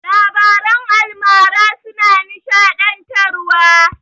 Labaran almara suna nishaɗantarwa.